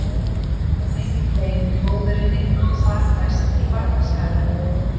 Nú varð mikið kvein hjá móðurinni og þar næst í barnaskaranum.